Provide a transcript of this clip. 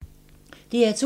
DR2